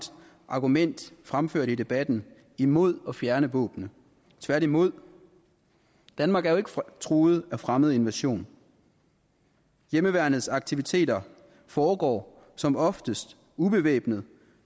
argument fremført i debatten imod at fjerne våbnene tværtimod danmark er jo ikke truet af fremmed invasion hjemmeværnets aktiviteter foregår som oftest ubevæbnet